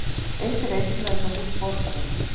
Eitt reisulegasta hús borgarinnar